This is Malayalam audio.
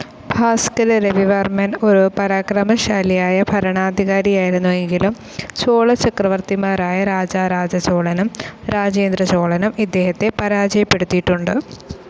ഭാസ്കര രവിവർമ്മൻ ഒരു പരാക്രമശാലിയായ ഭരണാധികാരിയായിരുന്നുവെങ്കിലും ചോള ചക്രവർത്തിമാരായ രാജരാജ ചോളനും രാജേന്ദ്ര ചോളനും ഇദ്ദേഹത്തെ പരാജയപ്പെടുത്തിയിട്ടുണ്ട്.